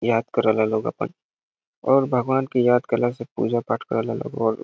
याद करे ला लोग अपन और भगवान के याद करले से पूजा पाठ करेला लोग।